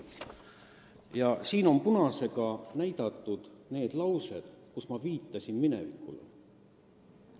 Ja siin on punasega märgitud need laused, kus ma viitasin minevikule.